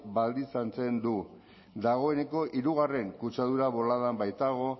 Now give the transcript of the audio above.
baldintzatzen du dagoneko hirugarren kutsadura boladan baitago